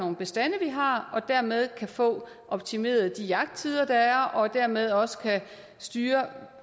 nogle bestande vi har og dermed kan få optimeret de jagttider der er og dermed også kan have styr